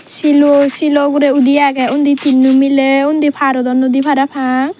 selo ogoray odi agey oni tinno melay oni parodon noi dey para pang.